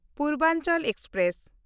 Purvanchal express